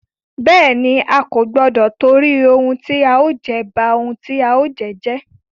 Bẹ́ẹ̀ni, A kò gbọdọ tìtorí ohun tí a ó jẹ, ba ohun tí a ó jẹ́ jẹ́.